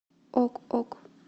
ок ок